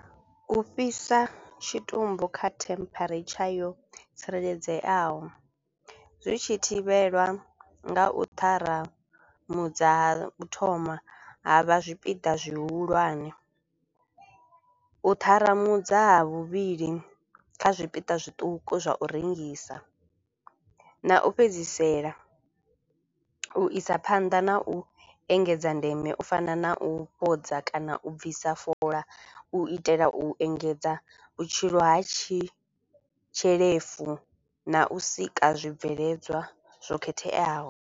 U fhisa tshitumbu kha temperature yo tsireledzeaho zwi tshi thivhelwa nga u ṱharamudza ha u thoma ha vha zwipiḓa zwihulwane, u ṱharamudza ha vhuvhili kha zwipiḓa zwiṱuku zwa u rengisa na u fhedzisela u isa phanḓa na u engedza ndeme u fana na u fhodza kana u bvisa fola u itela u engedza vhutshilo ha tshi tshelefu na u sika zwibveledzwa zwo khetheaho.